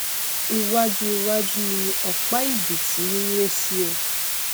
iwáju iwájú ni ọpá ẹbìtì n ré sí o